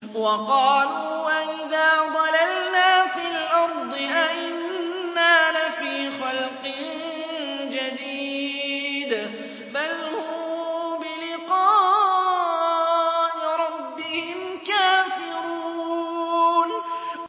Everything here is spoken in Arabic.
وَقَالُوا أَإِذَا ضَلَلْنَا فِي الْأَرْضِ أَإِنَّا لَفِي خَلْقٍ جَدِيدٍ ۚ بَلْ هُم بِلِقَاءِ رَبِّهِمْ كَافِرُونَ